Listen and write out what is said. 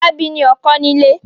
Fọlábí ní ọkọ́ nílé.